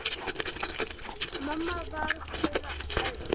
Mamma var þeirra elst.